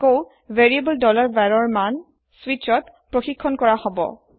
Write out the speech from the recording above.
আকৌ variable var ৰ মান switchত ছেক হব